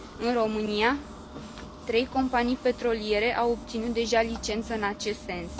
În România, trei companii petroliere au obținut deja licență în acest sens.